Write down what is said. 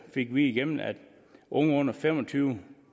fik vi igennem at unge under fem og tyve